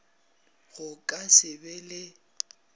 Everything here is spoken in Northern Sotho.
go ka se be le